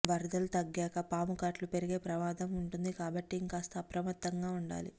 వరదలు తగ్గాక పాము కాట్లు పెరిగే ప్రమాదం ఉంటుంది కాబట్టి ఇంకాస్త అప్రమత్తంగా ఉండాలి